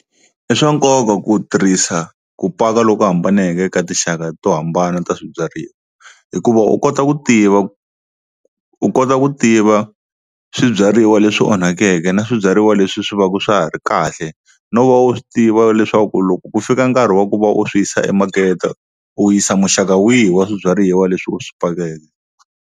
I swa nkoka ku tirhisa ku paka loko hambaneke ka tinxaka to hambana ta swibyariwa, hikuva u kota ku tiva u kota ku tiva swibyariwa leswi swi onhakeke na swibyariwa leswi swi va swa ha ri kahle, no va u swi tiva leswaku loko ku fika nkarhi wa ku va u swi yisa emakete u yisa muxaka wihi wa swibyariwa leswi u swi pakeke.